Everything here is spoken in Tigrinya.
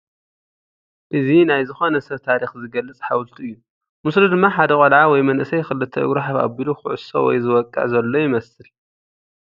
እዚ ናይ ዝኾነ ሰብ ታሪኽ ዝገልፅ ሓወልቲ እዩ ፡ ምስሉ ድማ ሓደ ቖልዓ ወይ መንእሰይ ክልተ እግሩ ሓፍ ኣቢሉ ኽዕሶ ወይ ዝወቕዕ ዘሎ ይመስል ።